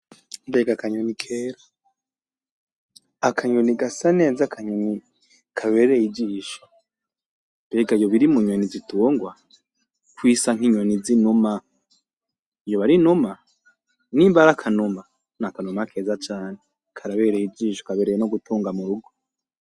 Mbega akanyoni keza akanyoni gasa neza akanyoni kabereye ijisho, mbega yoba iri munyoni zitungwa kwisa nkinyoni zinuma yoba ari inuma nimba ari akanuma nakanuma keza cane, karabereye ijisho kabereye no gutunga murugo.